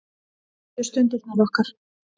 Mundu stundirnar okkar.